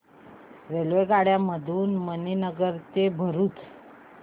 रेल्वेगाड्यां मधून मणीनगर ते भरुच